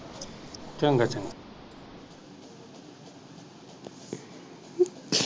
ਚੰਗਾ ਚੰਗਾ।